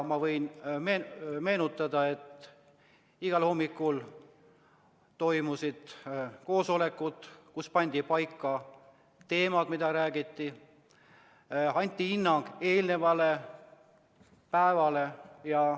Ma võin meenutada, et igal hommikul toimusid koosolekud, kus pandi paika teemad, mida käsitleda, ja anti hinnang eelnevale päevale.